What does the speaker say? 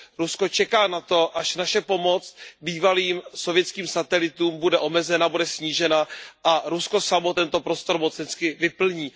Rusko čeká na to, až naše pomoc bývalým sovětským satelitům bude omezena, bude snížena a Rusko samo tento prostor mocensky vyplní.